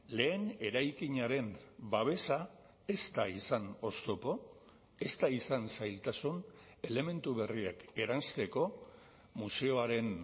lehen eraikinaren babesa ez da izan oztopo ez da izan zailtasun elementu berriak eransteko museoaren